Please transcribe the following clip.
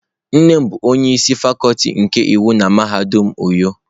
Nne m bu onye isi Fakuti nke iwu na mahadum uyo.